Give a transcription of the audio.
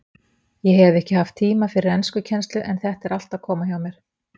Ég hef ekki haft tíma fyrir enskukennslu en þetta er allt að koma hjá mér.